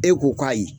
E ko k'ayi